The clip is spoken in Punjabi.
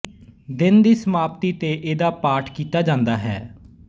ਦਿਨ ਦੀ ਸਮਾਪਤੀ ਤੇ ਇਹਦਾ ਪਾਠ ਕੀਤਾ ਜਾਂਦਾ ਹੈ